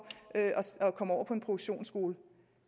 at komme over på en produktionsskole